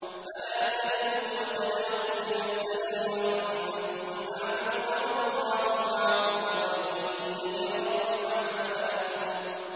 فَلَا تَهِنُوا وَتَدْعُوا إِلَى السَّلْمِ وَأَنتُمُ الْأَعْلَوْنَ وَاللَّهُ مَعَكُمْ وَلَن يَتِرَكُمْ أَعْمَالَكُمْ